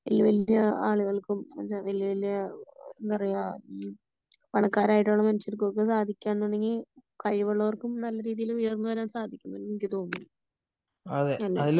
വലിയ വലിയ ആളുകൾക്കും വലിയ വലിയ എന്താ പറയാ പണക്കാരായിട്ടുള്ള മനുഷ്യർക്കൊക്കെ സാധിക്കാ എന്നുണ്ടെങ്കില് കഴിവ് ഉള്ളവര്ക്കും നല്ല രീതിയില് ഉയര്ന്നു വരാൻ സാധിക്കും . എന്ന് എനിക്ക് തോന്നുന്നു അല്ലേ ?